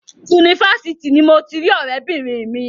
Yunifásitì ni mo ti rí ọ̀rẹ́bìnrin mi.